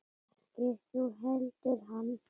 Ekki þú heldur hann.